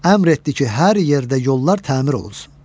Əmr etdi ki, hər yerdə yollar təmir olunsun.